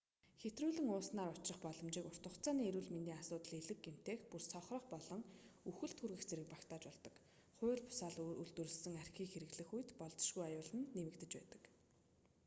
хэтрүүлэн ууснаар учрах боломжит урт хугацааны эрүүл мэндийн асуудалд элэг гэмтэх бүр сохрох болон үхэлд хүргэх зэрэг багтаж болдог хууль бусаар үйлдвэрлэсэн архийг хэрэглэх үед болзошгүй аюул нь нэмэгдэж байдаг